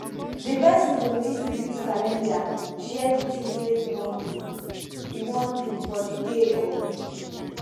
di person go need to use calender share the tins wey e wan do e wan do for the day or week